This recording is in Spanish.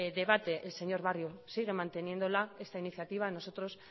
debate señor barrio siguen manteniendo esta iniciativa nosotros